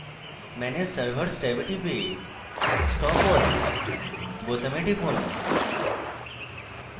manage servers ট্যাবে টিপে stop all বোতামে টিপুন